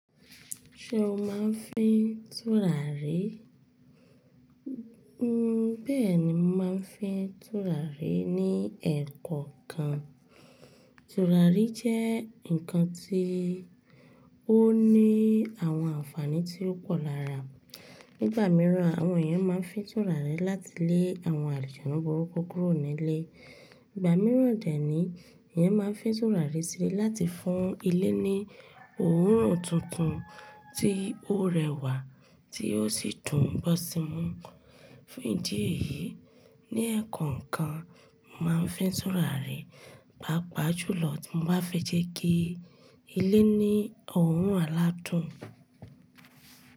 Ṣé o máa ń fín tùràrí? Bẹ́ẹ̀ ni mo máa ń fín tùràrí ní ẹ̀koọ̀kan. Tùràrí jẹ́ ǹkan tí ó ní àwọn àǹfààní tí ó pọ̀ lára. Nígbà mìíràn, àwọn èèyàn máa ń fín tùràrí láti lé àwọn àlijànnu burúkú kúrò nílé. Ìgbà mìíràn dè níyi, èèyàn máa ń fín tùràrí sílẹ̀ láti fún ilé ní òórùn tuntun tí ó rẹwà tí ó sì dùn gbọ́ sí mú. Fún ìdí èyí, ní ẹ̀koọ̀kan máa ń fín tùràrí, pàápàá jùlọ tí mo bá fẹ́ jẹ́ kí ilé ní òórùn aládùn.